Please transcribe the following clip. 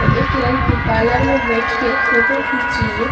एक लड़की पार्लर में बैठ के फोटो खींच रही है।